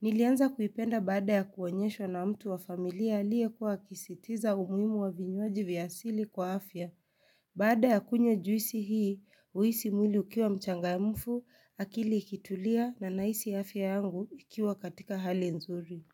Nilianza kuipenda baada ya kuonyeshwa na mtu wa familia aliyekuwa akisitiza umuimu wa vinywaji vya asili kwa afya. Baada ya kunywa juisi hii, huhisi mwili ukiwa mchangamfu akili ikitulia na nahisi afya yangu ikiwa katika hali nzuri.